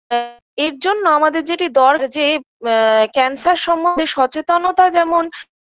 অ্যা এর জন্য আমাদের যেটি দর যে ম্যা cancer সম্বন্ধে সচেতনতা যেমন